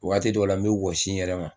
Wagati dɔw la, n mi wɔsi n yɛrɛ ma